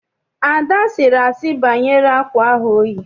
Ada sịrị asị banyere akwa ahụ oyi.